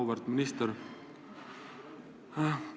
Auväärt minister!